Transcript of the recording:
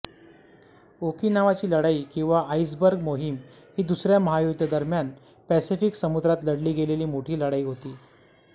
ओकिनावाची लढाई किंवा आइसबर्ग मोहीम ही दुसऱ्या महायुद्धादरम्यान पॅसिफिक समुद्रात लढली गेलेली मोठी लढाई होती